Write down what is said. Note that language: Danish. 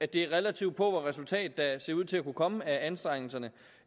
det relativt pauvre resultat der ser ud til at kunne komme af anstrengelserne